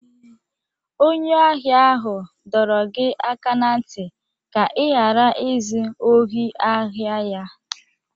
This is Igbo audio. Onye ahịa ahụ dọrọ gị aka n'ntị ka ị ghara izu ohi ahịa ya!